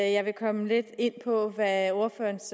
at jeg vil komme lidt ind på hvad ordførerens